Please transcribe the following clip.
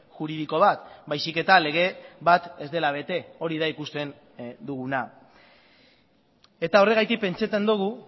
juridiko bat baizik eta lege bat ez dela bete hori da ikusten duguna eta horregatik pentsatzen dugu